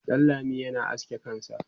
Danlami yana aske kansa